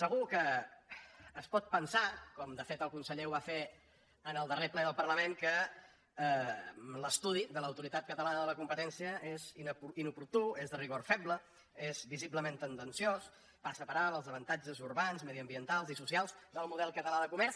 segur que es pot pensar com de fet el conseller ho va fer en el darrer ple del parlament que l’estudi de l’autoritat catalana de la competència és inoportú és de rigor feble és visiblement tendenciós passa per alt els avantatges urbans mediambientals i socials del model català de comerç